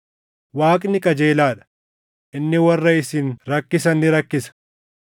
Waaqni qajeelaa dha: Inni warra isin rakkisan ni rakkisa;